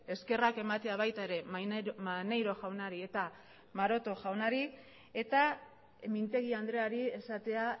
eskerrak ematea baita ere maneiro jaunari eta maroto jaunari eta mintegi andreari esatea